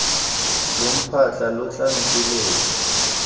lo mpatla lo tla nteletsa